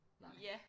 Nej